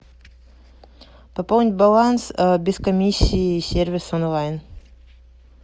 пополнить баланс без комиссии сервис онлайн